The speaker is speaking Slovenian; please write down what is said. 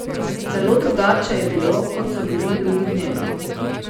Zelo drugače je bilo, kot so bili drugi dnevi.